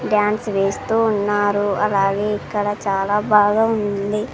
Dance వేస్తూ ఉన్నారు అలాగే ఇక్కడ చాలా బాగా ఉంది.